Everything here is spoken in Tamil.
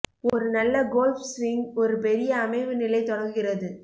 ஒரு நல்ல கோல்ஃப் ஸ்விங் ஒரு பெரிய அமைவு நிலை தொடங்குகிறது